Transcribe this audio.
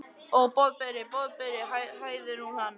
Ó, Boðberi, Boðberi hæðir hún hann.